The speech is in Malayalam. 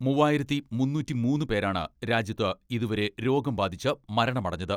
മുവ്വായിരത്തി മുന്നൂറ്റിമൂന്ന് പേരാണ് രാജ്യത്ത് ഇതുവരെ രോഗം ബാധിച്ച് മരണമടഞ്ഞത്.